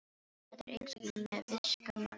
Þetta er eins og með visku mannsins, segir forseti.